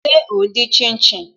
Ṣé o n dín shin shin?